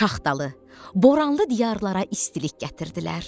Şaxtalı, boranlı diyarlara istilik gətirdilər.